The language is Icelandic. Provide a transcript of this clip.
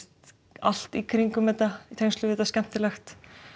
allt í kringum þetta í tengslum við þetta skemmtilegt